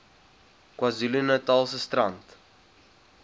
kwazulu natalse strand